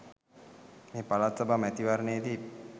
මේ පළාත් සභා මැතිවරණයේදී